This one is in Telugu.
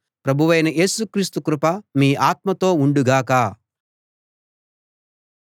ప్రభువైన యేసు క్రీస్తు కృప మీ ఆత్మతో ఉండు గాక